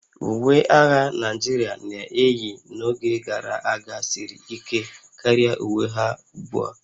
Uwe agha Naijiria na-eyi n'oge gara aga siri ike karịa uwe ha ugbu a